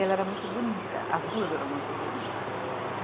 Ela era muito bonita, as duas eram muito bonitas.